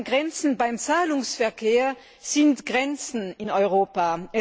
Grenzen beim Zahlungsverkehr sind Grenzen in Europa.